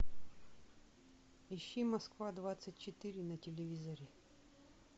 ищи москва двадцать четыре на телевизоре